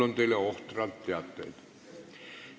Mul on teile ohtralt teateid.